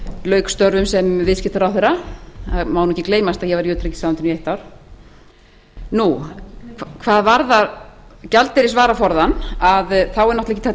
lauk störfum sem viðskiptaráðherra það má nú ekki gleymast að ég var í utanríkisráðuneytinu í eitt ár hvað varðar gjaldeyrisvaraforðann að þá er náttúrlega ekki hægt að